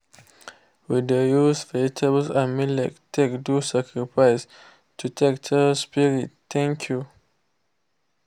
we dey use vegetable and millet take do sacrifice to take tell spirits thank you.